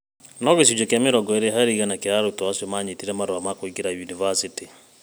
No gĩcunjĩ kĩa mĩrongo ĩrĩ harĩ igana kĩa arutwo acio nĩ maanyitire marũa ma kũingĩra yunivasĩtĩ.